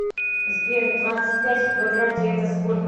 сбер двадцать пять в квадрате это сколько